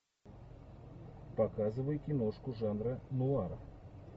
показывай киношку жанра нуар